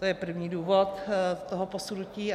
To je první důvod toho posunutí.